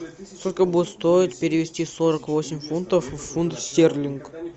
сколько будет стоить перевести сорок восемь фунтов в фунт стерлинг